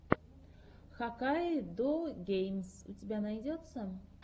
хаккайдогеймс у тебя найдется